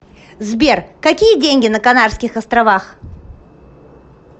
сбер какие деньги на канарских островах